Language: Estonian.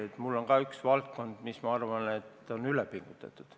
Ka mul on üks valdkond, mille puhul ma arvan, et sellega on üle pingutatud.